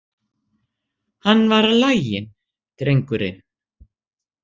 Hann var laginn, drengurinn.